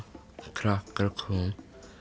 krakka kom